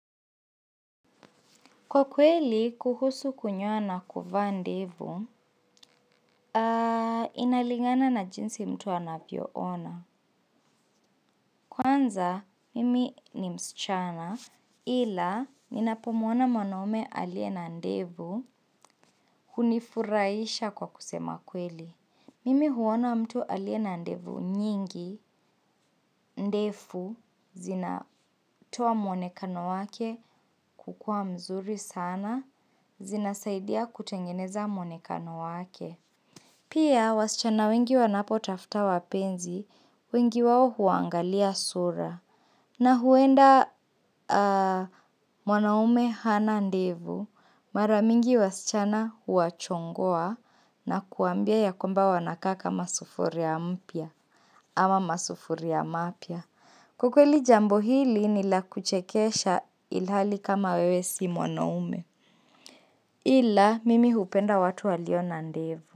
Kwa kweli, kuhusu kunyoa na kuvaa ndevu, inalingana na jinzi mtu anavyo ona. Kwanza, mimi ni msichana ila ninapamwona mwanaume aliye na ndevu hunifurahisha kwa kusema kweli. Mimi uona mtu aliye na ndevu nyingi, ndefu, zinatoa mwonekano wake kukua mzuri sana, zinasaidia kutengeneza mwonekano wake. Pia, wasichana wengi wanapotafuta wapenzi, wengi wao uangalia sura na huenda mwanaume hana ndevu. Mara mingi wasichana huwachongoa na kuwaambia ya kwamba wanakaa kama sufuria mpya ama masufuria mapya. Kwa kweli jambo hili nilakuchekesha ilihali kama wewe si mwanaume ila mimi hupenda watu walio na ndevu.